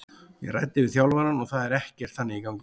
Ég ræddi við þjálfarann og það er ekkert þannig í gangi.